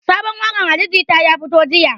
Sabon waƙan ali jita ya fito jiya